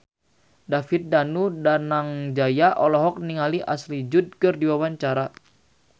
David Danu Danangjaya olohok ningali Ashley Judd keur diwawancara